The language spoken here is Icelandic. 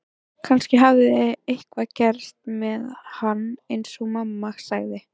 Kannski hafði eitthvað gerst með hann eins og mamma sagði.